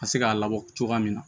Ka se k'a labɔ cogoya min na